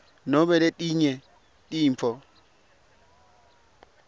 nobe letinye tintfo